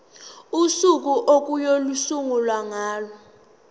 usuku okuyosungulwa ngalo